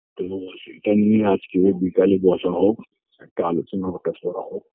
তো সেটা নিয়ে আজকে বিকালে বসা হোক একটা আলোচনা টালোচনা হোক